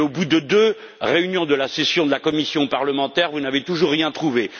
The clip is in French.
Et, au bout de deux réunions de la session de la commission parlementaire, vous n'avez toujours rien trouvé.